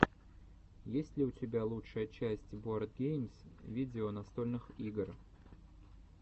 есть ли у тебя лучшая часть боардгеймс видео настольных игр